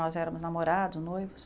Nós éramos namorados, noivos.